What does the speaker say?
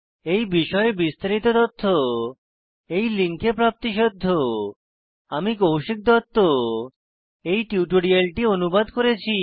এই বিষয়ে বিস্তারিত তথ্য এই লিঙ্কে প্রাপ্তিসাধ্য httpspoken tutorialorgNMEICT Intro আমি কৌশিক দত্ত এই টিউটোরিয়ালটি অনুবাদ করেছি